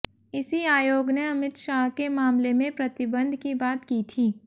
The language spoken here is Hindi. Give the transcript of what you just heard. इसी आयोग ने अमित शाह के मामले में प्रतिबंध की बात की थी